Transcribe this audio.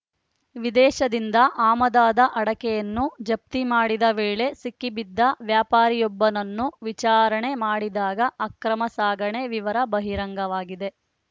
ವಿದೇಶದಿಂದ ಆಮದಾದ ಅಡಕೆಯನ್ನು ಜಪ್ತಿ ಮಾಡಿದ ವೇಳೆ ಸಿಕ್ಕಿಬಿದ್ದ ವ್ಯಾಪಾರಿಯೊಬ್ಬನನ್ನು ವಿಚಾರಣೆ ಮಾಡಿದಾಗ ಅಕ್ರಮ ಸಾಗಣೆ ವಿವರ ಬಹಿರಂಗವಾಗಿದೆ